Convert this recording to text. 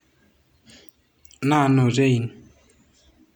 Na Notte Inn.